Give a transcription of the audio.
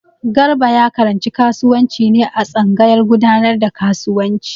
Garba ya karanci kasuwanci ne a tsangayar gudanar da kasuwanci.